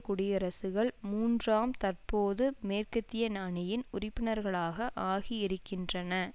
குடியரசுகள் மூன்றாம் தற்போது மேற்கத்திய அணியின் உறுப்பினர்களாக ஆகியிருக்கின்றன